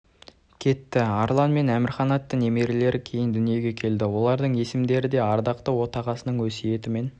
кетті арлан мен әмірхан атты немерелері кейін дүниеге келді олардың есімдері де ардақты отағасының өсиетімен